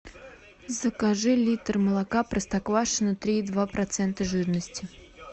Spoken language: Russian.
закажи литр молока простоквашино три и два процента жирности